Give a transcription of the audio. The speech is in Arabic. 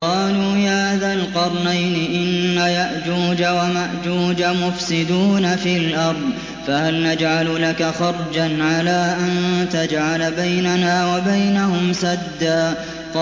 قَالُوا يَا ذَا الْقَرْنَيْنِ إِنَّ يَأْجُوجَ وَمَأْجُوجَ مُفْسِدُونَ فِي الْأَرْضِ فَهَلْ نَجْعَلُ لَكَ خَرْجًا عَلَىٰ أَن تَجْعَلَ بَيْنَنَا وَبَيْنَهُمْ سَدًّا